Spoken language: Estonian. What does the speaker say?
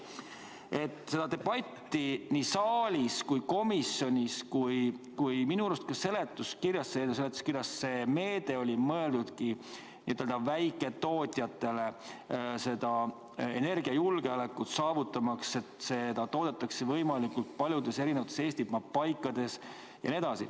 Rääkides sellest debatist nii saalis kui ka komisjonis, siis minu arust eelnõu seletuskirjas see meede oligi mõeldud n-ö väiketootjatele ja energiajulgeoleku saavutamiseks, et elektrit toodetaks võimalikult paljudes Eesti paikades.